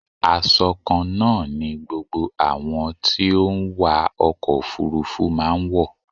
Asọ kan náà ni gbogbo àwọn tí ó ń wa ọkọ̀ òfúrúfú máa ń wọ.